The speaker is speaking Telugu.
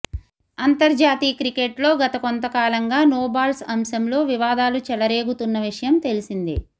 అంతర్జాతీయ క్రికెట్లో గత కొంతకాలంగా నో బాల్స్ అంశంలో వివాదాలు చెలరేగుతున్న విషయం తెలిసిందే